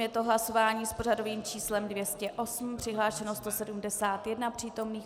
Je to hlasování s pořadovým číslem 208, přihlášeno 171 přítomných.